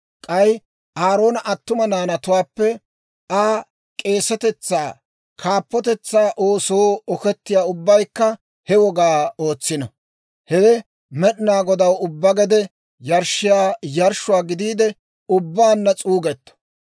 K'ay Aaroona attuma naanatuwaappe Aa k'eesetetsaa kaappotetsaa oosoo okettiyaa ubbaykka he wogaa ootsino. Hewe Med'inaa Godaw ubbaa gede yarshshiyaa yarshshuwaa gidiide ubbaanna s'uugetto.